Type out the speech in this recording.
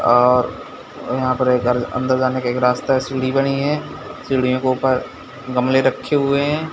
अ-अ यहां पर एक घर अंदर एक रास्ता है सीडी बानी है सीडीओं के ऊपर गमले रखे हुए है।